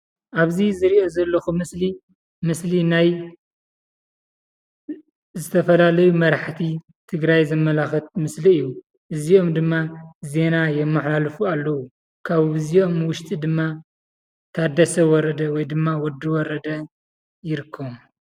ኣብ ዝርኦ ዘለኩ ምስሊ ምስሊ ናይ ዝተፈላላዩ መራሕቲ ትግራይ ዘማለኽት ምስሊ እዩ። እዚኦም ድማ ዜና የመሓላሉፍ ኣለው። ካብዝኦም ውሽጢ ድማ ታደሰ ወረደ ወይ ድማ ወዲ ወረዳ ይርከቡ።